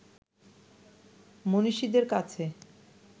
মনীষীদের কাছে